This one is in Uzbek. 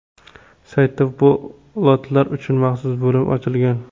Saytda bu lotlar uchun maxsus bo‘lim ochilgan.